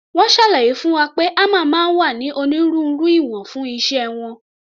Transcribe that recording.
Wọ́n ṣàlàyé fún wa pé hámà máa ń wá ní onírúurú ìwọ̀n fún iṣẹ́ wọn.